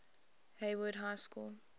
hayward high school